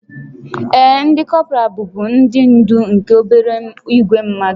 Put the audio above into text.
Ee, ndị kọpral bụbu ndị ndú nke obere ìgwè mmadụ